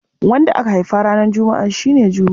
Wanda aka haifa ranar Juma'a shi ne Jume.